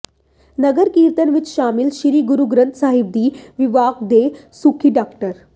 ਨਗਰ ਕੀਰਤਨ ਵਿਚ ਸ਼ਾਮਲ ਸ੍ਰੀ ਗੁਰੂ ਗ੍ੰਥ ਸਾਹਿਬ ਜੀ ਵਿਭਾਗ ਦੇ ਮੁਖੀ ਡਾ